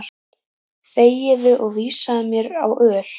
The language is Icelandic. Þegiðu og vísaðu mér á öl.